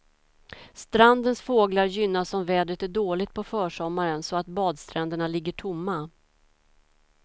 Strandens fåglar gynnas om vädret är dåligt på försommaren, så att badstränderna ligger tomma.